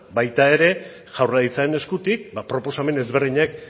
baita ere jaurlaritzaren eskutik ba proposamen ezberdinek